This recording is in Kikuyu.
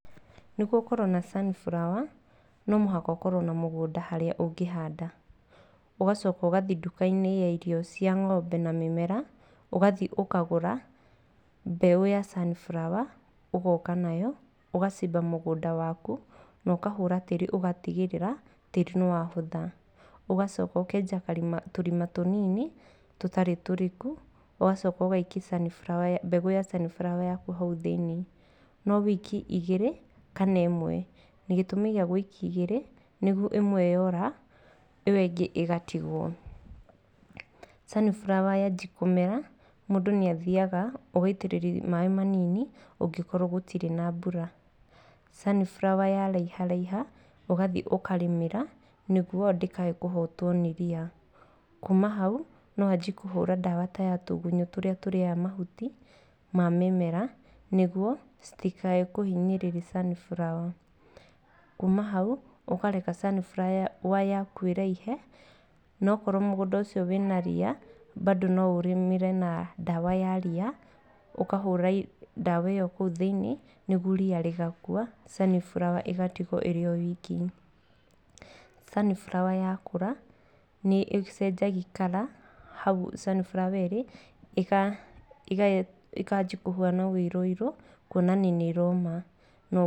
Nĩguo ũkorwo na sunflower, no mũhaka ũkorwo na mũgũnda harĩa ũngĩhanda, ũgacoka ũgathiĩ nduka-inĩ ya irio cia ng'ombe na mĩmera, ũgathi ũkagũra mbegũ ya sunflower. Ũgoka nayo, ũgacimba mũgũnda waku na ũkahũra tĩri ũgatigĩrĩra tĩri nĩ wahũtha. Ũgacoka ũkenja tũrima tũnini, tũtarĩ tũriku, ũgacoka ũgaiki mbegũ ya sunflower hau thĩiniĩ, no wĩike igĩrĩ kana ĩmwe. Gĩtũmi gĩa gũikia igĩrĩ, nĩguo ĩmwe yora ĩyo ĩngĩ ĩgatigwo. Sunflower yanjia kũmera, mũndũ nĩ athiaga ũgaitĩrĩria maaĩ manini ũngĩkorwo gũtirĩ na mbura, Sunflower yaraiharaiha ũgathiĩ ũkarĩmira, nĩguo ndĩkahe kũhotwo nĩ ria. Kuma hau no wanjie kũhũra ndawa ta ya tũgunyũ tũrĩa tũrĩaga mahuti ma mĩmera, nĩguo citikahe kũhinyĩrĩria sunflower. Kũma hau ũkareka Sunflower yaku ĩraihe, no korwo mũgũnda ũcio wĩna ria, bando no ũrĩmĩre na ndawa ya ria, ũkahũra ndawa ĩyo kũu thĩiniĩ, nĩguo ria rĩgakua sunflower ĩgatigwo ĩri o wiki. Sunflower yakũra nĩ ĩcenjagia kara, hau sunflower ĩrĩ ĩkanjia kũhana ũirũ irũ kuonania nĩ ĩroma.